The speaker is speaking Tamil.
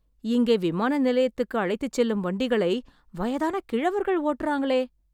இங்கே விமான நிலையத்துக்கு அழைத்துச் செல்லும் வண்டிகளை வயதான கிழவர்கள் ஓட்டறாங்களே...